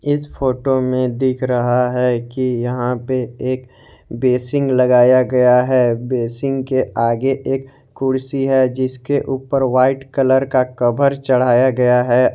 इस फोटो में दिख रहा है कि यहां पे एक बेसिंग लगाया गया है बेसिंग के आगे एक कुर्सी है जिसके ऊपर एक वाइट कलर का कवर चढ़ाया गया है।